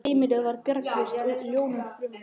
Heimilið var bjargarlaust og jólin framundan.